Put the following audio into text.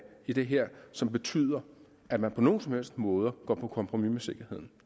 i det her som betyder at man på nogen som helst måde går på kompromis med sikkerheden